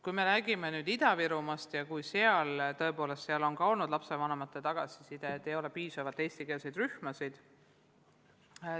Kui me räägime Ida-Virumaast, siis sealt on tulnud lapsevanematelt tagasisidet, et ei ole piisavalt eestikeelseid rühmasid.